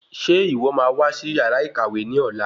Ṣe ìwọ máa wá sí yàrá ìkàwé ní ọ̀la